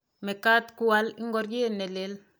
mekat kual ngorie ne lel